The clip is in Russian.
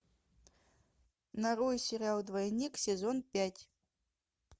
нарой сериал двойник сезон пять